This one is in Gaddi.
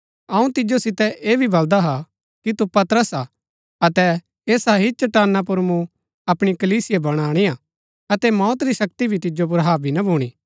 अऊँ तिजो सितै ऐह भी बलदा हा कि तु पतरस हा अतै ऐसा ही चट्टाना पुर मूँ अपणी कलीसिया बणाणिआ अतै मौत री शक्ति भी तिजो पुर हाबी ना भूणी